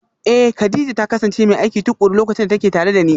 Eh, Kadija ta kasance mai aiki tukuru lokacin da take tare da ni